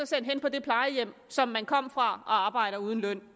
sendt hen på det plejehjem som man kom fra for arbejde uden løn